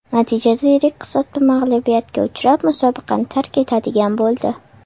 Natijada yirik hisobda mag‘lubiyatga uchrab, musobaqani tark etadigan bo‘ldi.